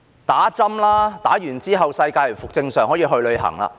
打針吧，之後世界便會回復正常，可以去旅行。